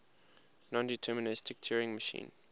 nondeterministic turing machine